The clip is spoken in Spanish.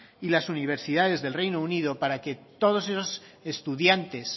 y las universidades del reino unido para que todos esos estudiantes